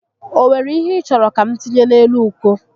O were ihe ị chọrọ ka m tinye n'elu uko?